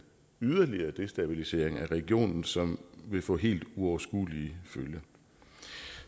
yderligere destabilisering af regionen som vil få helt uoverskuelige følger